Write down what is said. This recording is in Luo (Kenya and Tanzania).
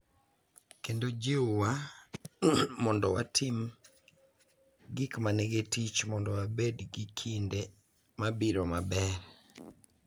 Kendo jiwwa mondo watim gik ma nigi tich mondo wabed gi kinde mabiro maber.